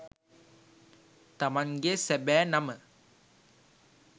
තමන්ගේ සැබෑ නම